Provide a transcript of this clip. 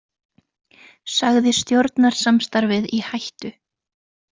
Sagði stjórnarsamstarfið í hættu